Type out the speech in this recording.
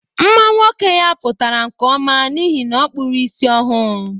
Mma nwoke ya pụtara nke ọma n'ihi na ọkpụrụ isi ọhụ.